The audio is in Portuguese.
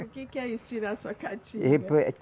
O que que é isso, tirar sua catinga?